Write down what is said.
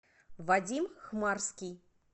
вадим хмарский